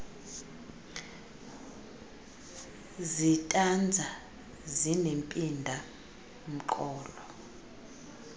zitanza zinempinda mqolo